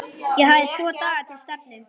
Ég hafði tvo daga til stefnu.